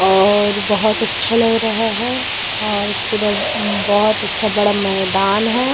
और बहुत अच्छा लग रहा है और पूरा बहुत अच्छा बड़ा मैदान है ।